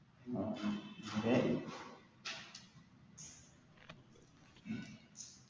ആ